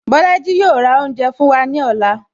Bolaji yo ra oúnjẹ fún wa ní ọ̀la